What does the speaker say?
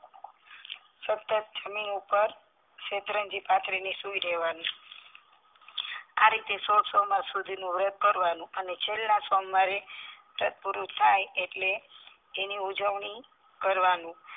સતત જમીન ઉપર શેતરંજી પાથરીને સુઈ રેવાનું આ રીતે સો સોમવાર સુધીનું વ્રત કરવાનું અને છેલ્લા સોમવારે વ્રત પૂરું થાઈ એટલે એની ઉજવણી કરવાનું